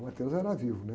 O era vivo, né?